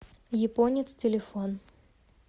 японец телефон